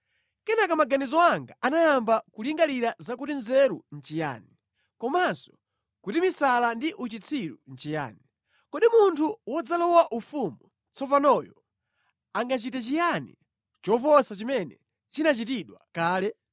Kenaka maganizo anga anayamba kulingalira zakuti nzeru nʼchiyani, komanso kuti misala ndi uchitsiru nʼchiyani. Kodi munthu wodzalowa ufumu tsopanoyo angachite chiyani choposa chimene chinachitidwa kale?